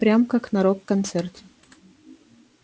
прям как на рок-концерте